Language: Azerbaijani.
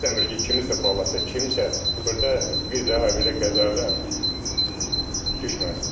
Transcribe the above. İstəmirik ki, kiminsə balası, kimsə burda bir daha belə qəzada düşməsin.